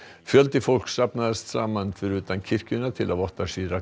fjöldi fólks safnaðist saman fyrir utan kirkjuna til að votta